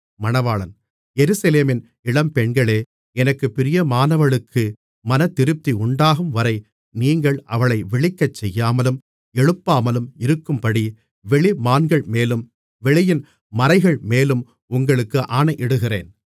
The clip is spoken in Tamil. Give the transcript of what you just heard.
எருசலேமின் இளம்பெண்களே எனக்குப் பிரியமானவளுக்கு மனதிருப்தி உண்டாகும்வரை நீங்கள் அவளை விழிக்கச் செய்யாமலும் எழுப்பாமலும் இருக்கும்படி வெளிமான்கள்மேலும் வெளியின் மரைகள்மேலும் உங்களுக்கு ஆணையிடுகிறேன் மணவாளி